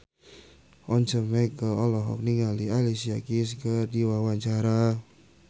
Once Mekel olohok ningali Alicia Keys keur diwawancara